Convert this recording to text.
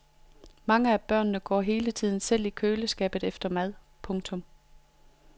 Mange af børnene går hele tiden selv i køleskabet efter mad. punktum